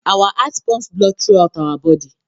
Our heart pumps blood throughout our body